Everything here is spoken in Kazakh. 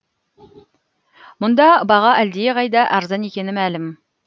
мұнда баға әлдеқайда арзан екені мәлім